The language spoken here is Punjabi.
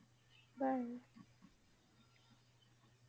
Bye